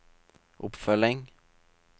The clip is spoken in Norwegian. oppfølging